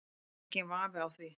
Það er enginn vafi á því